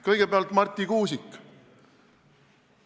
Kõigepealt Marti Kuusik.